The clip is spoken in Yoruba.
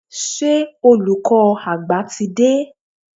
Ṣé olùkọ́ àgbà ti dé?